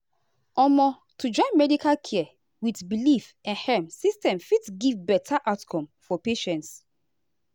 omo to join medical care with belief ehm system fit give better outcome for patients.